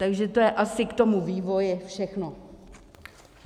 Takže to je asi k tomu vývoji všechno.